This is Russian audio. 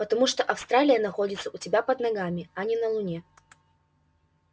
потому что австралия находится у тебя под ногами а не на луне